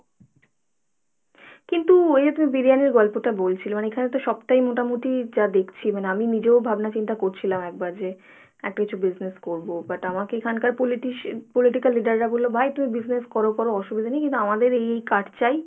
কিন্তু এই যে তুমি বিরিয়ানির গল্পটা বলছিলে মানে এখানে তো সবটাই মোটামুটি যা দেখছি মানে আমি নিজেও ভাবনা-চিন্তা করছিলাম একবার যে একটা কিছু business করবো but আমাকে এখানকার politician, political leader রা বললো ভাই তুমি business করো করো কোনো অসুবিধা নেই কিন্তু আমাদের এই এই card চাই,